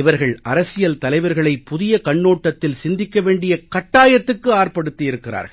இவர்கள் அரசியல் தலைவர்களை புதிய கண்ணோட்டத்தில் சிந்திக்க வேண்டிய கட்டாயத்துக்கு ஆட்படுத்தி இருக்கிறார்கள்